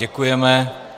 Děkujeme.